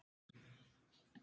Þau höfðu haft nógan tíma.